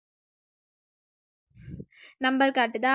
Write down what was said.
number காட்டுதா